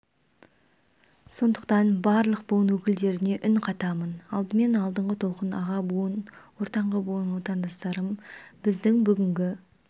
сондықтан барлық буын өкілдеріне үн қатамын алдымен алдыңғы толқын аға буын ортаңғы буын отандастарым біздің бүгінгі